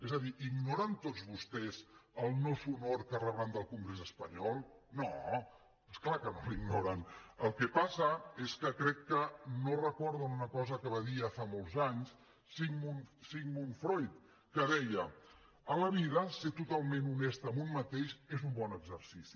és a dir ignoren tots vostès el no sonor que rebran del congrés espanyol no és clar que no l’ignoren el que passa és que crec que no recorden una cosa que va dir ja fa molts anys sigmund freud que deia a la vida ser totalment honest amb un mateix és un bon exercici